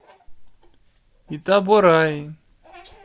итабораи